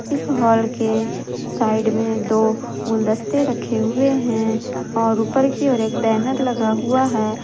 इस हॉल के साइड में दो गुलदस्ते रखे हुए हैं और ऊपर की ओर एक बैनर लगा हुआ है।